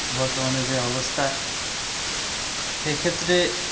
বর্তমানে যে অবস্থা এ ক্ষেত্রে